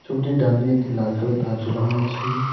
ছবিটির ডানদিকে একটি লাল কালো তার ঝোলানো আছে।